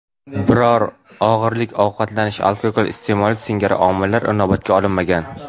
Biroq og‘irlik, ovqatlanish, alkogol iste’moli singari omillar inobatga olinmagan.